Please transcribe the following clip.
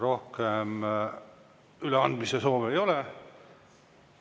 Rohkem üleandmise soove ei ole.